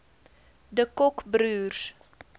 de kock broers